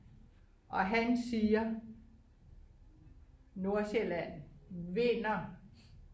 og han siger Nordsjælland vinder